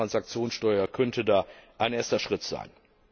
Die Finanztransaktionssteuer könnte da ein erster Schritt sein.